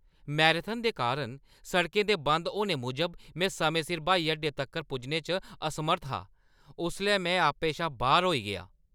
Marathon दे कारण सड़कें दे बंद होने मूजब में समें सिर ब्हाई अड्डे तक्कर पुज्जने च असमर्थ हा उसलै में आपे शा बाह्‌र होई गेआ ।